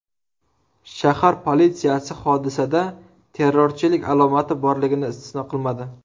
Shahar politsiyasi hodisada terrorchilik alomati borligini istisno qilmadi .